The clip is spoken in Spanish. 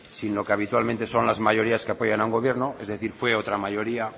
sin lo que habitualmente son las mayorías que apoyan a un gobierno es decir fue otra mayoría